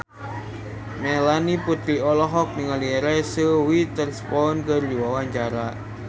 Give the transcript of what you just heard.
Melanie Putri olohok ningali Reese Witherspoon keur diwawancara